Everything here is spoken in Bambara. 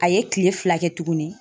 A ye tile fila kɛ tuguni